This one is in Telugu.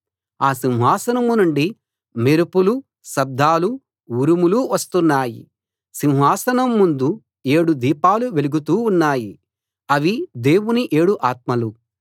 ఆ సింహాసనం నుండి మెరుపులు శబ్దాలు ఉరుములు వస్తున్నాయి సింహాసనం ముందు ఏడు దీపాలు వెలుగుతూ ఉన్నాయి అవి దేవుని ఏడు ఆత్మలు